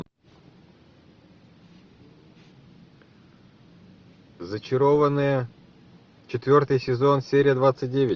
зачарованные четвертый сезон серия двадцать девять